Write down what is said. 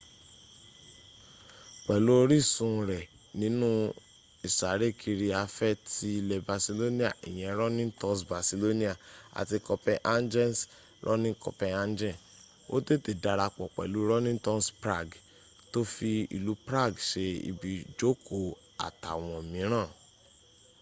pẹ̀lú orísun rẹ̀ nínú ìsárékiri afẹ́ ti ilẹ̀ barcelona ìyẹn running tours barcelona àti copenhagen's running copenhagen ó tètè darapọ̀ pẹ̀lú running tours prague tó fi ilú prague se ibi ìjóòkó àtàwọn mìíràn